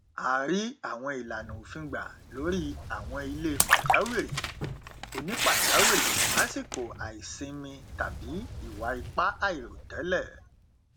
a rí àwọn ìlànà òfin gbà lórí àwọn ilé pàjáwìrì onípàjáwìrì lásíkò àìsinmi tàbí ìwà ipá àìròtẹlẹ